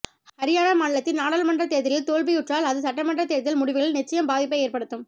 ஹரியானா மாநிலத்தில் நாடாளுமன்ற தேர்தலில் தோல்வியுற்றால் அது சட்டமன்றத் தேர்தல் முடிவுகளில் நிச்சயம் பாதிப்பை ஏற்படுத்தும்